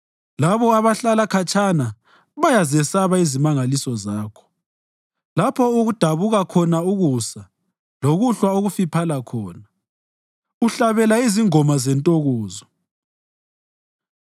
Labo abahlala khatshana bayazesaba izimangaliso zakho; lapho okudabuka khona ukusa lokuhlwa okufiphala khona, uhlabela izingoma zentokozo.